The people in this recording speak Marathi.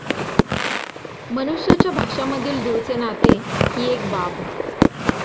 मनुष्याच्या भाषामधील दूरचे नाते हि एक बाब.